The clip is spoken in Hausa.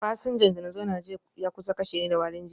Fasinjan da na zauna jiya ya kusa kashe ni da warin jiki